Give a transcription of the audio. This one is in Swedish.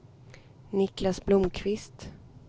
Niklas Blomqvist